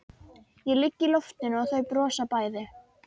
Ég ligg í loftinu og þau brosa bæði.